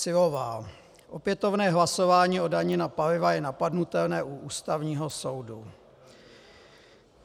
Syllová: Opětovné hlasování o dani na paliva je napadnutelné u Ústavního soudu.